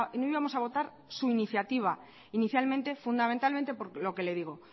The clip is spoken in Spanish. no íbamos a votar su iniciativa inicialmente fundamentalmente lo que le digo